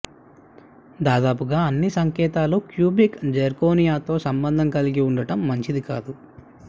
దాదాపుగా అన్ని సంకేతాలు క్యూబిక్ జిర్కోనియాతో సంబంధం కలిగి ఉండటం మంచిది కాదు